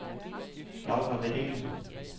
Laura Vedel